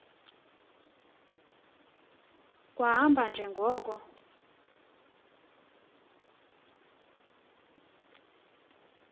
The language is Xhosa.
kwahamba nje ngoko